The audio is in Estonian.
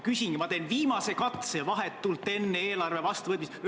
Ma teen viimase katse vahetult enne eelarve vastuvõtmist.